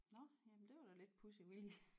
Nåh jamen det var da lidt pudsigt vi lige